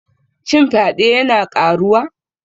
Shin fyade yana ƙaruwa?